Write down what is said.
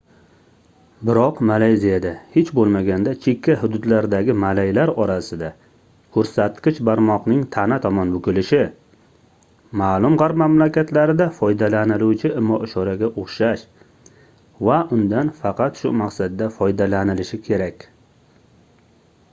biroq malayziyada hech boʻlmaganda chekka hududlardagi malaylar orasida koʻrsatkich barmoqning tana tomon bukilishi maʼlum gʻarb mamlakatlarida foydalaniluvchi imo-ishoraga oʻxshash va undan faqat shu maqsadda foydalanilishi kerak